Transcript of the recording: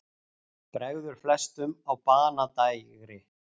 Bregður flestum á banadægri.